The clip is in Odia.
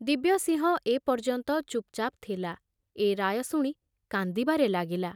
ଦିବ୍ୟସିଂହ ଏ ପର୍ଯ୍ୟନ୍ତ ଚୁପଚାପ ଥିଲା, ଏ ରାୟ ଶୁଣି କାନ୍ଦିବାରେ ଲାଗିଲା।